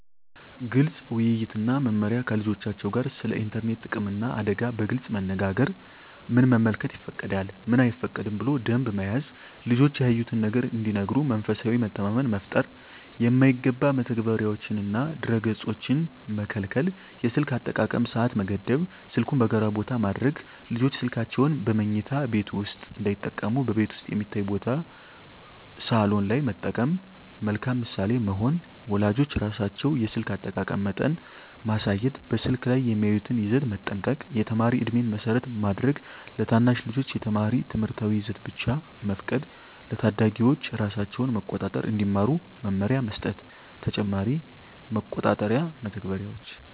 ግልፅ ውይይት እና መመሪያ ከልጆቻቸው ጋር ስለ ኢንተርኔት ጥቅምና አደጋ በግልፅ መነጋገር ምን መመልከት ይፈቀዳል፣ ምን አይፈቀድም ብሎ ደንብ መያዝ ልጆች ያዩትን ነገር እንዲነግሩ መንፈሳዊ መተማመን መፍጠር የማይገባ መተግበሪያዎችንና ድረ-ገፆችን መከልከል የስልክ አጠቃቀም ሰዓት መገደብ ስልኩን በጋራ ቦታ ማድረግ ልጆች ስልካቸውን በመኝታ ቤት ውስጥ እንዳይጠቀሙ በቤት ውስጥ የሚታይ ቦታ (ሳሎን) ላይ መጠቀም መልካም ምሳሌ መሆን ወላጆች ራሳቸው የስልክ አጠቃቀም መጠን ማሳየት በስልክ ላይ የሚያዩትን ይዘት መጠንቀቅ የተማሪ ዕድሜን መሰረት ማድረግ ለታናሽ ልጆች የተማሪ ትምህርታዊ ይዘት ብቻ መፍቀድ ለታዳጊዎች ራሳቸውን መቆጣጠር እንዲማሩ መመሪያ መስጠት ተጨማሪ መቆጣጠሪያ መተግበሪያዎች